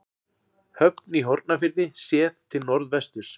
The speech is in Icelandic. Höfn í Hornafirði séð til norðvesturs.